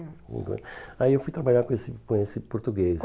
aí eu fui trabalhar com esse com esse português.